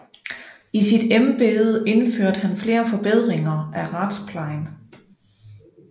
I sit embede indførte han flere forbedringer af retsplejen